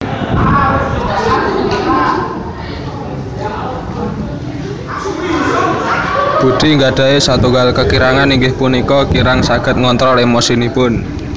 Budi nggadhahi satunggal kekirangan inggih punika kirang saged ngontrol emosinipun